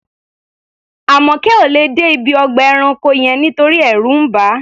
Àmọ̀kẹ́ ò lè dé ibi ọgbà ẹranko yẹn nítorí ẹ̀rù ń bà á.